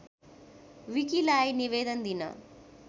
विकीलाई निवेदन दिन